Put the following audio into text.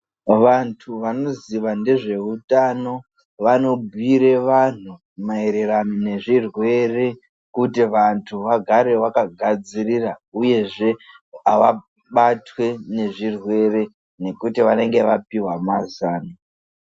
Vantu vanoziva nezveutano vanobhiire vantu maererano nezvirwere kuti vantu vagare vakagadzirira. Uyezve avabatwi ngezvirwere nekuti vanenge vapihwa mazano.